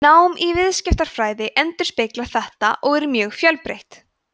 nám í viðskiptafræði endurspeglar þetta og er mjög fjölbreytt